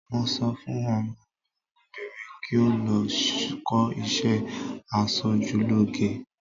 Mo sọ fún ọmọ mi obìnrin kí ó lọ kọ́ iṣẹ́ asojúlóge.